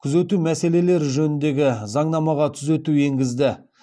күзету мәселелері жөніндегі заңнамаға түзету енгізді